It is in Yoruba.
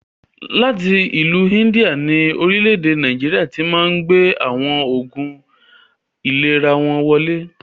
Láti ìlú India ni Orílẹ̀ èdè Nàìjíríà tíì Máà ń gbé àwọn Oògún ìlera wọn wọlé